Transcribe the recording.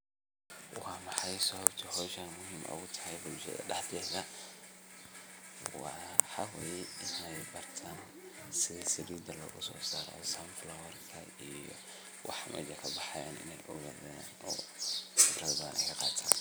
Waa maxay sababta howsha muhiim ugu tahay bulshada dhexdeeda waa haddii inaay bartan sidaa salida loga so saro sunflower ka iyo waxa mejan kabaxayan inaay fikrada badan kaqatan.